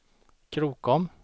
Krokom